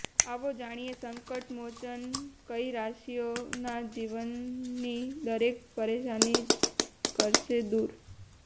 આવો જાણીએ સંકટ મોચન કઈ રાશિઓ ના જીવન ની દરેક પરેશાની કરશે દુર